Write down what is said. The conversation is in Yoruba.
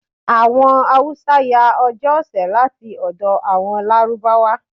Àwọn Hausa yá Ọjọ́ ọ̀sẹ̀ láti ọ̀dọ̀ àwọn Lárúbáwá.